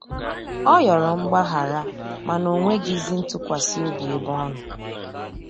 Ọ yọrọ mgbahara mana onwegizi ntụkwasi obi ebe ọnọ.